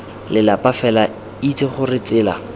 lelapa fela itse gore tsela